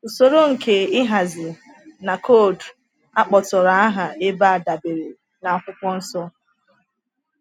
“Usoro nke ịhazi” na “koodu” a kpọtụrụ aha ebe a dabere na Akwụkwọ Nsọ.